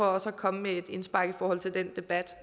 også at komme med et indspark i forhold til den debat